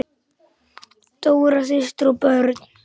Dóra systir og börn.